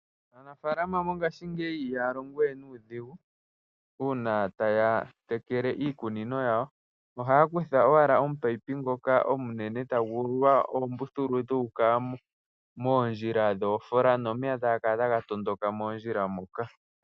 Aanafalama mongashingeyi ihaya longo we nuudhigu una taya yekele iikunino yawo ohaya kutha owa oopaipi ndjoka onene tayi ululwa oombuthulu yu uka moondjila dhoofola nomeya taga kala taga tondoka moondjila moka.